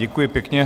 Děkuji pěkně.